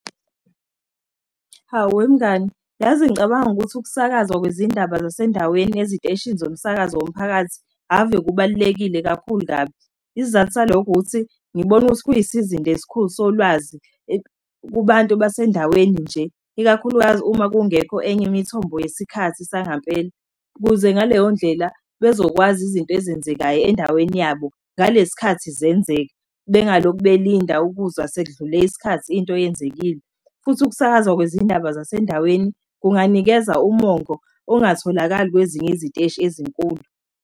Hawu wemngani, yazi ngicabanga ukuthi ukusakaza kwezindaba zasendaweni eziteshini zomsakazo womphakathi ave kubalulekile kakhulu kabi. Isizathu salokho ukuthi, ngibone ukuthi kuyisizinda esikhulu solwazi, kubantu basendaweni nje, ikakhulukazi uma kungekho enye imithombo yesikhathi sangampela, ukuze ngaleyo ndlela bezokwazi izinto ezenzekayo endaweni yabo ngalesi sikhathi zenzeka. Bengalokhu, belinda ukuzwa sekudlule isikhathi into yenzekile futhi ukusakaza kwezindaba zasendaweni kunganikeza ummongo ongatholakala kwezinye iziteshi ezinkulu.